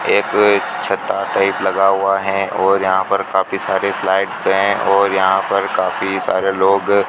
एक छत्ता टाइप लगा हुआ है और यहां पर काफी सारे फ्लाइटस हैं और यहां पर काफी सारे लोग --